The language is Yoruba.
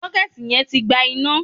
Sọ́kẹ́ẹ̀tì yẹn tí gba iná.